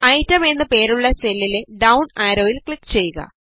item എന്നു പേരുള്ള സെല്ലിലെ ഡൌൺ ആരോയിൽ ക്ലിക് ചെയ്യുക